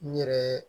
N yɛrɛ